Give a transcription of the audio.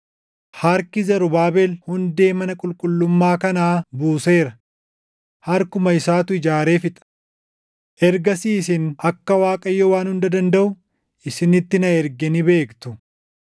“Harki Zarubaabel hundee mana qulqullummaa kanaa buuseera; harkuma isaatu ijaaree fixa. Ergasii isin akka Waaqayyo Waan Hunda Dandaʼu isinitti na erge ni beektu.